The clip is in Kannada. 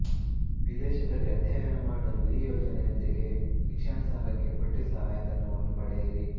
ವಿದೇಶದಲ್ಲಿ ಅಧ್ಯಯನ ಮಾಡಲು ಈ ಯೋಜನೆಯೊಂದಿಗೆ ಶಿಕ್ಷಣ ಸಾಲಕ್ಕೆ ಬಡ್ಡಿ ಸಹಾಯಧನವನ್ನು ಪಡೆಯಿರಿ